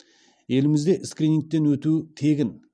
елімізде скринингтен өту тегін